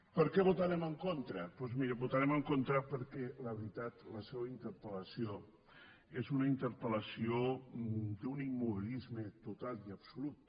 per què hi votarem en contra doncs miri hi votarem en contra perquè la veritat la seua interpel·lació és una interpel·lació d’un immobilisme total i absolut